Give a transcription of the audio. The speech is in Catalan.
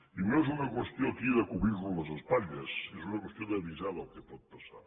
i no és una qüestió aquí de cobrir nos les espatlles és una qüestió d’avisar del que pot passar